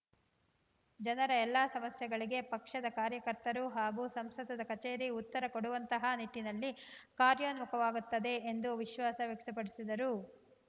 ಜನರ ಎಲ್ಲಾ ಸಮಸ್ಯೆಗಳಿಗೆ ಪಕ್ಷದ ಕಾರ್ಯಕರ್ತರು ಹಾಗೂ ಸಂಸದರ ಕಚೇರಿ ಉತ್ತರ ಕೊಡುವಂತಹ ನಿಟ್ಟಿನಲ್ಲಿ ಕಾರ್ಯೋನ್ಮುಖವಾಗುತ್ತದೆ ಎಂದು ವಿಶ್ವಾಸ ವ್ಯಕ್ತಪಡಿಸಿದರು